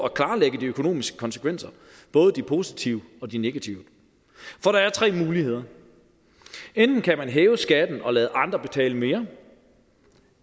at klarlægge de økonomiske konsekvenser både de positive og de negative for der er tre muligheder enten kan man hæve skatten og lade andre betale mere